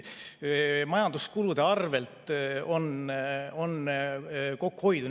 Majanduskulusid on saanud kokku hoida.